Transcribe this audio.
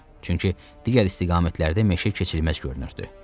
Çünki digər istiqamətlərdə meşə keçilməz görünürdü.